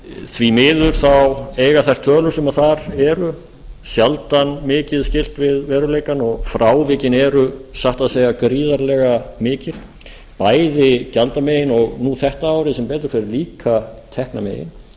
því miður eiga þær tölur sem þar eru sjaldan mikið skylt við veruleikann og frávikin eru satt að segja gríðarlega mikil bæði gjaldamegin og nú þetta árið sem betur fer líka teknamegin